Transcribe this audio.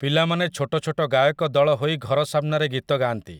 ପିଲାମାନେ ଛୋଟଛୋଟ ଗାୟକ ଦଳ ହୋଇ ଘର ସାମ୍ନାରେ ଗୀତ ଗାଆନ୍ତି ।